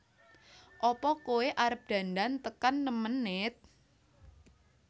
Apa koe arep dandan tekan nem menit?